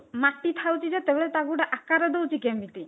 ମାଟି ଥାଉଛି ଯେତେ ବେଳେ ତାକୁ ଗୋଟେ ଆକାର ଦଉଛି କେମିତି